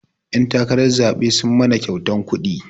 Ƴan takarar zaɓe sun mana kyautan kuɗi